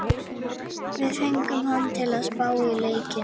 Við fengum hann til að spá í leikinn.